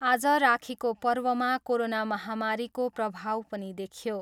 आज राखीको पर्वमा कोरोना महामारीको प्रभाव पनि देखियो।